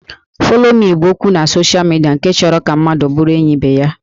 Follow me' bụ okwu na social media nke chọrọ ka mmadụ bụrụ enyi ibe ya